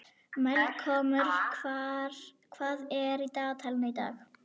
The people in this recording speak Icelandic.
Melkólmur, hvað er í dagatalinu í dag?